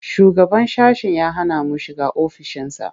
Shugaban sashen ya hana mu shiga ofishinsa.